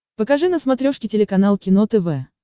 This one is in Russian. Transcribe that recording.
покажи на смотрешке телеканал кино тв